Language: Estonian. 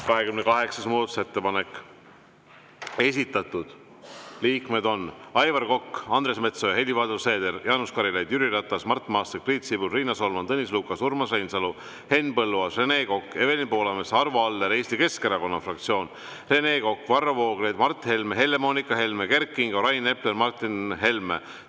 28. muudatusettepanek, esitanud Aivar Kokk, Andres Metsoja, Helir-Valdor Seeder, Jaanus Karilaid, Jüri Ratas, Mart Maastik, Priit Sibul, Riina Solman, Tõnis Lukas, Urmas Reinsalu, Henn Põlluaas, Rene Kokk, Evelin Poolamets, Arvo Aller, Eesti Keskerakonna fraktsioon, Rene Kokk, Varro Vooglaid, Mart Helme, Helle-Moonika Helme, Kert Kingo, Rain Epler ja Martin Helme.